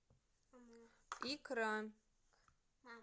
икра